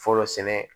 Fɔlɔ sɛnɛ